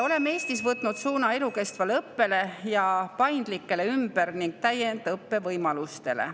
Oleme Eestis võtnud suuna elukestvale õppele ning paindlikele ümber‑ ja täiendõppe võimalustele.